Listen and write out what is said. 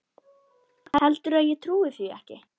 Heldurðu að ég trúi því ekki?